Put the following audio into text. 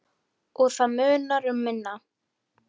Og það munar um minna.